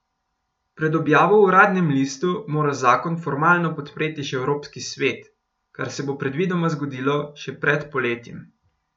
Pred objavo v uradnem listu mora zakon formalno podpreti še evropski svet, kar se bo predvidoma zgodilo še pred poletjem.